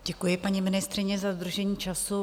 Děkuji, paní ministryně, za dodržení času.